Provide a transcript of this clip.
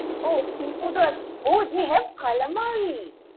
ও sea food ও আছে। ও they have Calamari!